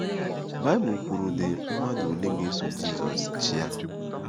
Baịbụl kwurudị mmadụ ole ga-eso Jizọs chịa.